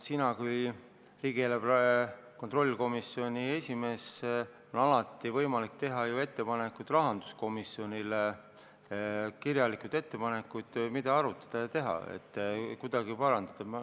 Sinul kui riigieelarve kontrolli erikomisjoni esimehel on ju alati võimalik teha rahanduskomisjonile kirjalik ettepanek, mida arutada, et kuidagi seda parandada.